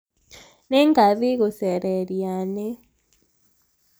nĩngathĩĩ gũcera irianĩ